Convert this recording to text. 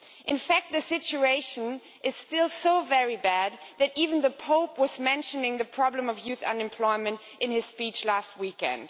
In fact, the situation is still so very bad that even the Pope mentioned the problem of youth unemployment in his speech last weekend.